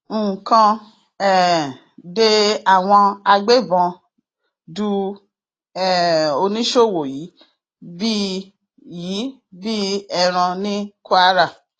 nǹkan um de àwọn agbébọn du um oníṣòwò yìí bíi yìí bíi ẹran ní kwara